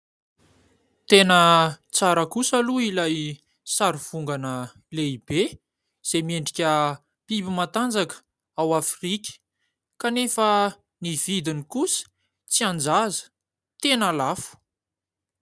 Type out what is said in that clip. Tena tsara kosa aloha ilay sary vongana lehibe izay miendrika biby matanjaka ao Afrika kanefa ny vidiny kosa tsy an-jaza, tena lafo.